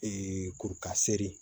kurukasere